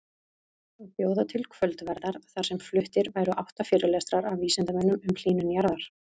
Að bjóða til kvöldverðar þar sem fluttir væru átta fyrirlestrar af vísindamönnum um hlýnun jarðar.